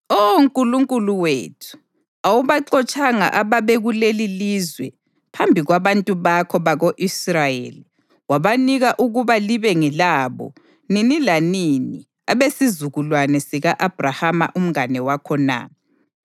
Oh Nkulunkulu wethu, awubaxotshanga ababekuleli lizwe phambi kwabantu bakho bako-Israyeli wabanika ukuba libe ngelabo nini lanini abesizukulwane sika-Abhrahama umngane wakho na?